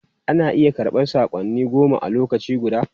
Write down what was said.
Ana iya karɓan saƙonni goma a lokaci guda.